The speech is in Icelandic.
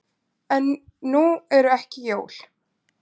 En nú eru ekki jól.